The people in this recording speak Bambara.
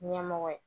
Ɲɛmɔgɔ ye